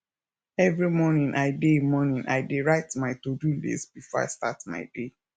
every morning i dey morning i dey write my todo list before i start my day